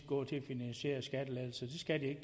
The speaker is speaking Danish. gå til at finansiere skattelettelser det